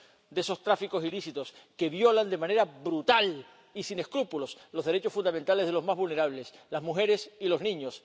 explotación de esos tráficos ilícitos que violan de manera brutal y sin escrúpulos los derechos fundamentales de los más vulnerables las mujeres y